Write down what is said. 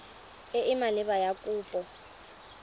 e e maleba ya kopo